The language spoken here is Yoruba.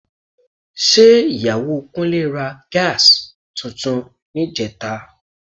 Ṣé Ìyàwó Kúnlé ra Gas tuntun níjẹta?